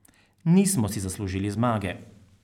Nismo si zaslužili zmage.